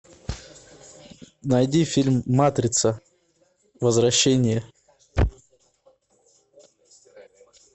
найди фильм матрица возвращение